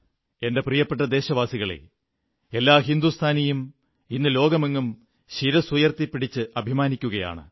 എന്റെ പ്രിയപ്പെട്ട ദേശവാസികളേ എല്ലാ ഹിന്ദുസ്ഥാനിയും ഇന്ന് ലോകമെങ്ങും ശിരസ്സുയർത്തിപ്പിടിച്ച് അഭിമാനിക്കുകയാണ്